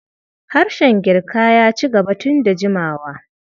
Harshen Girkaya ci gaba tun da jimawa.